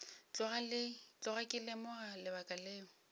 tloga ke lemoga lebaka leo